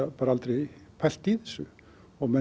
bara aldrei pælt í þessu og